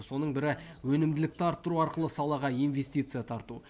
соның бірі өнімділікті арттыру арқылы салаға инвестиция тарту